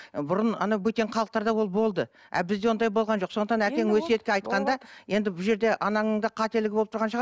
бұрын анау бөтен халықтарда ол болды а бізде ондай болған жоқ сондықтан әкең өсиетте айтқанда енді бұл жерде анаңның да қателігі болып тұрған шығар